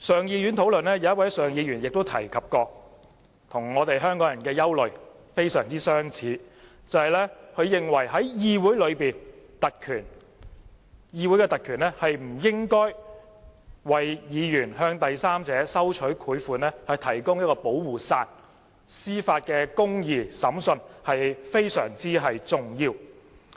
有一位上議院議員提到，他與香港人的憂慮非常相似，他認為在議會內，議會的特權不應該為議員向第三者收取賄款提供保護傘，司法機構作出公義的審訊非常重要。